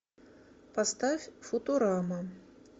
поставь футурама